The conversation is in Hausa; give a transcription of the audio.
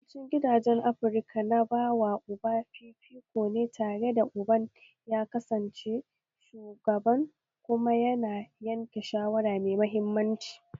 Yawancin gidajen Afirka na bawa uba fifiko ne tare da uban ya kasance shugaban kuma yana yanke shawara mai mahimmanci